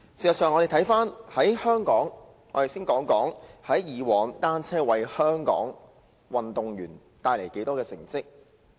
讓我們先看看單車以往為香港運動員帶來的成績。